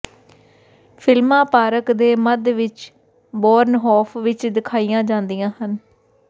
ਫ਼ਿਲਮਾਂ ਪਾਰਕ ਦੇ ਮੱਧ ਵਿੱਚ ਬੌਰਨਹੌਫ ਵਿੱਚ ਦਿਖਾਈਆਂ ਜਾਂਦੀਆਂ ਹਨ